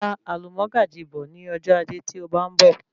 Ra alumọ́gàjí bọ̀ ní ọjọ ajé tí ó bá ń bọ̀